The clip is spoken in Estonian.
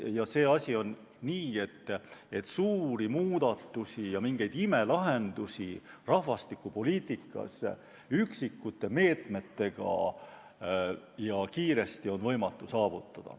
Ja see asi on, et suuri muudatusi ja mingeid imelahendusi rahvastikupoliitikas üksikute meetmetega ja kiiresti on võimatu saavutada.